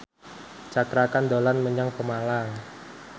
Cakra Khan dolan menyang Pemalang